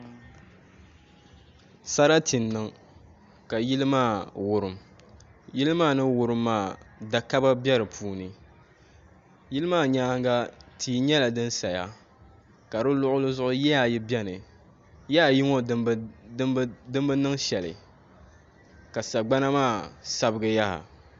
Sarati n niŋ ka yili maa wurim yili maa ni wurim maa da kaba bɛ di puuni yili maa nyaanga tia nyɛla din saya ka di luɣuli zuɣu yiya ayi biɛni yiya ayi ŋɔ din bi niŋ shɛli ka sagbana maa sabigi yaha